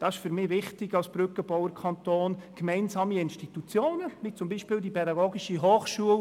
Das ist für mich wichtig als Brückenbauer-Kanton, gemeinsame Institutionen, wie zum Beispiel die pädagogische Hochschule